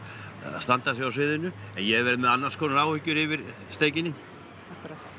standa sig á sviðinu en ég verð með annars konar áhyggjur yfir steikinni